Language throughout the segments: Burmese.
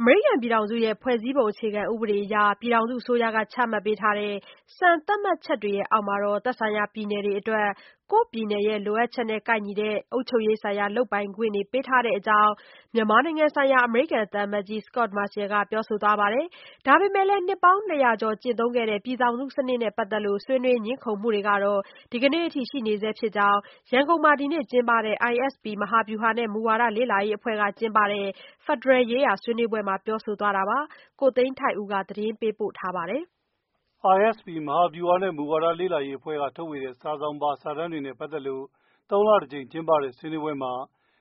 အမေရိကန်ပြည်ထောင်စုရဲ့ ဖွဲ့စည်းပုံအခြေခံဥပဒေအရ ပြည်ထောင်စုအစိုးရ ချမှတ်ပေးတဲ့ စံသတ်မှတ်ချက်တွေအောက်မှာ သက်ဆိုင်ရာ ပြည်နယ်တွေအတွက် ကိုယ့်ပြည်နယ်ရဲ့ လိုအပ်ချက်နဲ့ကိုက်ညီတဲ့ အုပ်ချုုပ်ရေးဆိုင်ရာ လုပ်ပိုင်ခွင့်တွေ ပေးထားတဲ့ အကြောင်း မြန်မာနိုင်ငံဆိုင်ရာ အမေရိကန်သံအမတ်ကြီး Scot Marciel က ပြောဆိုသွားပါတယ်။ ဒါပေမဲ့လည်း နှစ်ပေါင်းနှစ်ရာကျော် ကျင့်သုံးခဲ့တဲ့ ပြည်ထောင်စု စနစ်နဲ့ ပတ်သက်လို့ ဆွေးနွေးငြင်းခုံမှုတွေကတော့ ဒီနေ့အထိ ရှိနေဆဲဖြစ်တဲ့အကြောင်း ရန်ကုန် Kafe in Town မှာ ဒီနေ့ ကျင်းပတဲ့ ISP မဟာဗျူဟာနဲ့ မူဝါဒ လေ့လာရေး အဖွဲ့က ကျင်းပတဲ့ ဖက်ဒရယ် ရေးရာ ဆွေးနွေးပွဲမှာ ပြောဆိုသွားတာပါ။ ကိုသိန်းထိုက်ဦး သတင်းပေးပို့ပါတယ်။ ISP မဟာဗျူဟာနဲ့ မူဝါဒ လေ့လာရေး အဖွဲ့က ထုတ်ဝေတဲ့ စာစောင်ပါ စာတမ်းတွေနဲ့ပတ်သက်ပြီး သုံးလတကြိမ်ကျင်းပတဲ့ ဆွေးနွေးပွဲမှာ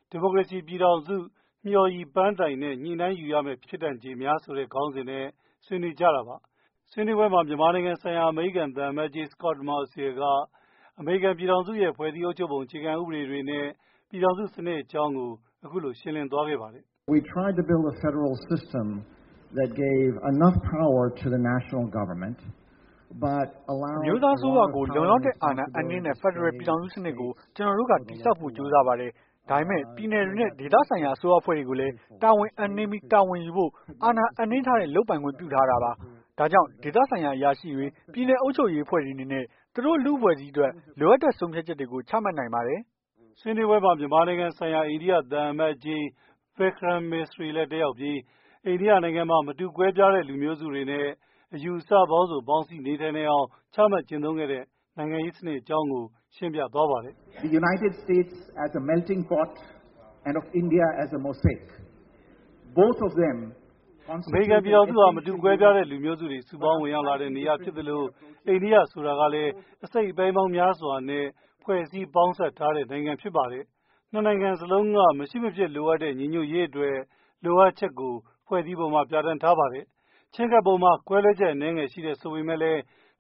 ဒီမိုကရေစီပြည်ထောင်စု၊ မျှော်ရည်ပန်းတိုင်နှင့် ညှိ့နိုင်းယူရမည့် ဖြစ်တန်ခြေများ ဆိုတဲ့ ခေါင်းစဉ်နဲ့ ဒီကနေ့ ဆွေးနွေးကြတာပါ။ ဆွေးနွေးပွဲမှာ မြန်မာနိုင်ငံဆိုင်ရာ အမေရိကန်သံအမတ်ကြီး Scot Marciel က အမေရိကန်ပြည်ထောင်စုရဲ့ ဖွဲ့စည်းပုံအုပ်ချုပ်ပုံ အခြေခံဥပဒေတွေနဲ့ ပြည်ထောင်စုစနစ်အကြောင်းကို ရှင်းပြသွားခဲ့တာပါ။ "အမျိုးသား အစိုးရကို လုံလောက်တဲ့ အာဏာအပ်နှင်းတဲ့ ဖက်ဒရယ်ပြည်ထောင်စု စနစ်ကို ကျနော်တို့က တည်ဆောက်ဖို့ ကြိုးစားပါတယ်။ ဒါပေမဲ့ ပြည်နယ်တွေနဲ့ ဒေသဆိုင်ရာ အစိုးရအဖွဲ့တွေကိုလည်း တာဝန်အပ်နှင်းပြီး တာဝန်ယူဖို့ အာဏာနှင်းအပ်ထားတဲ့ လုပ်ပိုင်ခွင့် ခွင့်ပြုထားတာပါ။ ဒါကြောင့် ဒေသဆိုင်ရာ အရာရှိတွေ၊ ပြည်နယ်အုပ်ချုပ်ရေးအဖွဲ့တွေအနေနဲ့ သူတို့ လူ့အဖွဲ့အစည်းအတွက် လိုအပ်တဲ့ ဆုံးဖြတ်ချက်တွေကို ချမှတ်နိုင်ပါတယ်။ " ဆွေးနွေးပွဲမှာ မြန်မာနိုင်ငံ ဆိုင်ရာ အိန္ဒိယ သံအမတ်ကြီး Vikram Misri လည်း တက်ရောက်ပြီး အိန္ဒိယနိုင်ငံမှာ မတူကွဲပြားတဲ့ လူမျိုးစုတွေနဲ့ အယူအဆပေါင်းစုံ ပေါင်းစည်းနေထိုင်နိုင်အောင် ချမှတ်ကျင့်သုံးတဲ့ နိုင်ငံရေးစနစ်အကြောင်းကို ရှင်းပြသွားပါတယ်။ အမေရိကန်ပြည်ထောင်စုဟာ မတူကွဲပြားတဲ့ လူမျိုးတွေ စုပေါင်းဝင်ရောက်လာတဲ့ နေရာဖြစ်သလို အန္ဒိယဆိုတာကလည်း အစိတ်အပိုင်းပေါင်းများစွာနဲ့ ဖွဲ့စည်းထားတဲ့ နိုင်ငံဖြစ်ပါတယ်။ နှစ်နိုင်ငံစလုံးက ညီညီညွတ်ညွတ်နေထိုင်ရေး လိုအပ်ချက်ကို ဖွဲ့စည်းပုံမှာ ပြဌာန်းထားပါတယ်။ ချဉ်းကပ်ပုံမှာ ကွဲလွဲချက် အနည်းငယ် ရှိတယ်ဆိုပေမယ့်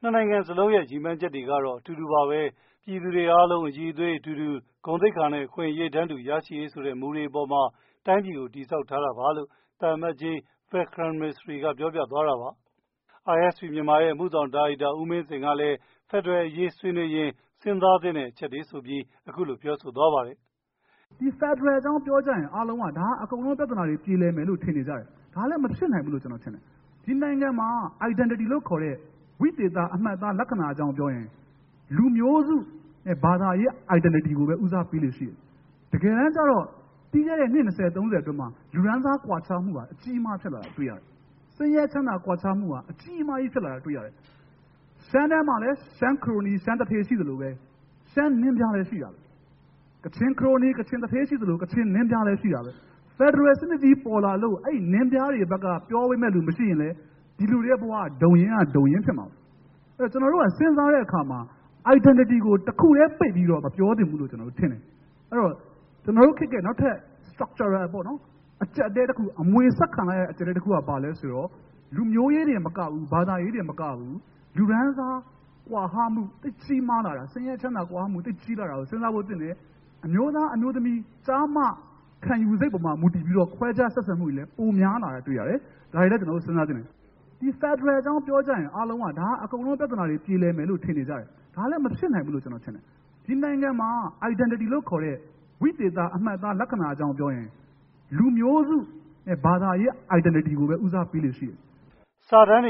နှစ်နိုင်ငံစလုံးက ရည်မှန်းချက်တွေမှာတော့ အတူတူပါပဲ၊ ပြည်သူတွေ အားလုံး အရည်အသွေးအတူတူ၊ ဂုဏ်သိက္ခာနဲ့ အခွင့်အရေးတန်းတူ ရရှိရေးဆိုတဲ့ မူတွေအပေါ်မှာ တိုင်းပြည်ကို တည်ဆောက်ထားတာပါလို့လည်း သံအမတ်ကြီး Vikram Misriပြောပြသွားတာပါ။ ISP-Myanmar ရဲ့ အမှုဆောင်ဒါရိုက်တာ ဦးမင်းဇင်ကတော့ "ဒီဖက်ဒရယ်အကြောင်းပြောကြရင် အားလုံးက ပြဿနာတွေ ပြေလည်မယ်လို့ ထင်နေကြတယ် ဒါကလည်းမဖြစ်နိုင်ဘူးလို့ ကျနော်ထင်တယ် ဒီနိုင်ငံမှာ Identity လို့ခေါ်တဲ့ ဝိသေသ အမှတ်အသားလက္ခဏာအကြောင်းပြောရင် လူမျိုးစုနဲ့ ဘာသာရေး Identity ကိုပဲ ဦးစားပေးလေ့ရှိတယ်။ တကယယ်တမ်းကြတော့ ပြီးခဲ့တဲ့ နှစ်၂၀-၃၀ အတွင်းမှာ လူတန်းစားကွာခြားချက်တွေကို တွေ့ရတယ်။ ဆင်းရဲချမ်းသာကွာခြားမူက အကြီးမားကြီး ဖြစ်လာတာတွေ့ရတယ်။ ရှမ်းထဲမှာလည်း ရှမ်း ခရိုနီ၊ ရှမ်းသူဌေး ရှိသလို ရှမ်းနင်းပြားတွေလည်းရှိတာပဲ။ ကချင် ခရိုနီ၊ ကချင်သူဌေး ရှိသလို ကချင်နင်းပြားတွေလည်းရှိတာပဲ။ ဒီဖက်ဒရယ်စနစ်ကြီးပေါ်လာလို့ ဒီနင်းပြားတွေဘက်က ပြောပေးမယ့်လူမရှိရင်တော့ ဒီလူတွေဘဝက ဒုံရင်းက ဒုံရင်းဖြစ်မှာပဲ။ အဲဒီတော့ ကျနော်တို့က စဉ်းစားတဲ့အခါမှာ identity ကိုတခုတည်းမပြောသင့်ဘူးလို့ထင်တယ်။ အဲဒီတော့ ကျနော်တို့ခေတ်ရဲ့ နောက်ထပ် structure ပေါ့နော် ။ အကျပ်အတည်းတခု အမွေဆက်ခံလိုက်ရတဲ့ အကျပ်တည်းတခုက ဘာလဲဆိုတော့ လူမျိုးရေး၊ ဘာသာရေးတင်မကဘူး လူတန်းစားကွာဟမှု ဆင်းရဲချမ်းသာကွာဟမှု ကြီးမားလာတာ စဉ်းစားဖို့သင့်တယ် အမျိုးသား ၊ အမျိုးသမီး၊ကျား၊ မ ခံယူစိတ်ပေါ်မှာ မူတည်ပြီးတော့ ခွဲခြားဆက်ဆံမှုတွေလည်း ပိုများလာတာတွေ့ရတယ်။ ဒါတွေလည်း ကျနော်တို့စဉ်းစားသင့်တယ်" ဆွေးနွေးပွဲမှာ ၂၀၀၈ ဖွဲ့စည်းပုံအခြေခံ ဥပဒေ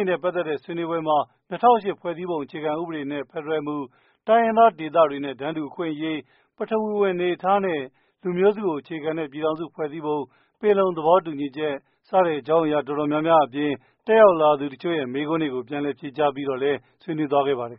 နဲ့ ဖက်ဒရယ်မူ၊ တိုင်းရင်းသားဒေသတွေနဲ့ တန်းတူအခွင့်အရေး၊ ပထဝီဝင်အနေအထားနဲ့ လူမျိုးစုကို အခြေခံတဲ့ ပြည်ထောင်စုဖွဲ့စည်းပုံ၊ ပင်လုံသဘောတူညီချက် စတဲ့အကြောင်းအရာ တော်တော်များများအပြင် တက်ရောက်လာသူတချို့ရဲ့ မေးခွန်းတွေကို ပြန်လည်ဖြေကြား ဆွေးနွေးသွားခဲ့ပါတယ်